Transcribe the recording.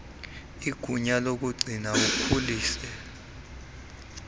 igunya lokugcina akhulise